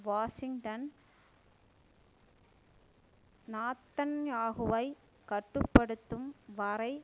Washington நாத்தன்யாகுவை கட்டு படுத்தும் வரை